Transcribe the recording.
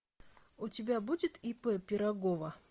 у тебя будет ип пирогова